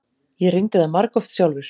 Ég reyndi það margoft sjálfur.